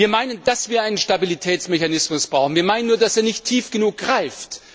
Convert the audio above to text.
Wir meinen, dass wir einen Stabilitätsmechanismus brauchen, wir meinen nur, dass er nicht tief genug greift.